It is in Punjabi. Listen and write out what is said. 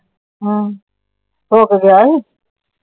ਹੋ ਕੇ ਗਿਆ ਸੀ।